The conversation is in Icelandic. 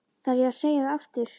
Þarf ég að segja það aftur?